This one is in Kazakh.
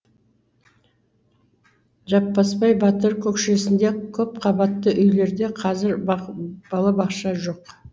жаппасбай батыр көкшесінде көпқабатты үйлерде қазір балабақша жоқ